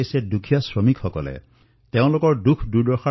আমাৰ মাজৰ পৰা এনে কোন আছে যিয়ে তেওঁলোকৰ দুখকষ্ট অনুভৱ কৰিব পৰা নাই